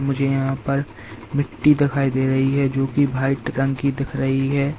मुझे यहां पर मिट्टी दिखाई दे रही है जो कि व्हाइट रंग की दिख रही है।